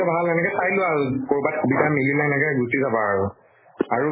ভাল সেনেকে চাই লোৱা আৰু। কৰবাত সুবিধা মিলিলে এনেকে গুছি যাবা আৰু। আৰু